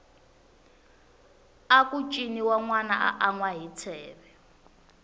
aku ciniwa nwana a anwa hi tsheve